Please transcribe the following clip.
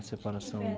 A